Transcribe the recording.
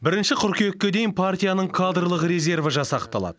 бірінші қыркүйекке дейін партияның кадрлық резерві жасақталады